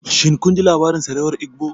Shin kun ji labarin sarewar Igbo?